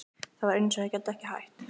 Það var eins og ég gæti ekki hætt.